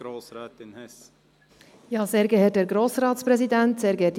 Es sind die Nachwehen der Fasnacht.